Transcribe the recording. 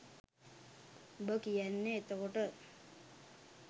උඹ කියන්නෙ එතකොට